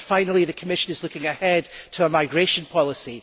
And finally, the Commission is looking ahead to a migration policy.